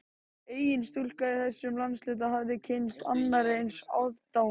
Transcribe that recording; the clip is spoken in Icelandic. Engin stúlka í þessum landshluta hafði kynnst annarri eins aðdáun